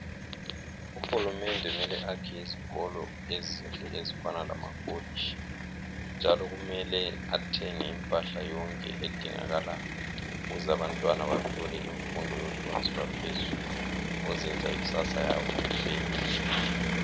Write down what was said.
Uhulumende mele akhe izikolo ezinhle ezifana lama kolitshi njalo kumele athenge impahla yonke edingakalayo ukuze abantwana bethola imfundo yohlonzi lwaphezulu okuzoyenza ikusasa yabo ibenhle.